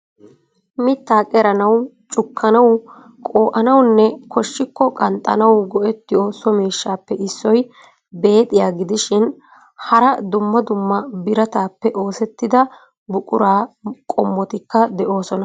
Mitta qeranaw, cukkanaw, qoo'anawunne koshshikko qanxxanaw go"ettiyo so miishshappe issoy beexxiya gidishin hara dumma dumma biratappe oosettida buqura qommotikka de'oosona.